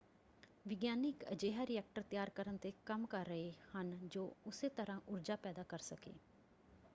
ਵਿਗਿਆਨੀ ਇੱਕ ਅਜਿਹਾ ਰਿਐਕਟਰ ਤਿਆਰ ਕਰਨ ‘ਤੇ ਕੰਮ ਕਰ ਰਹੇ ਹਨ ਜੋ ਉਸੇ ਤਰ੍ਹਾਂ ਊਰਜਾ ਪੈਦਾ ਕਰ ਸਕੇ।